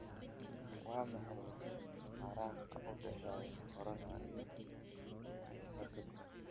waa maxay faraqa u dhexeeya corona iyo hargabka?